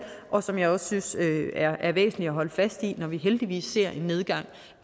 og som jeg også synes er er væsentligt at holde fast i når vi heldigvis ser en nedgang i